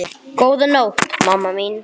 Góða nótt, mamma mín.